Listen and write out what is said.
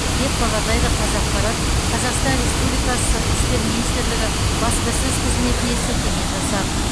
деп хабарлайды қазақпарат қазақстан республикасы сыртқы істер департаменті баспасөз қызметіне сілтеме жасап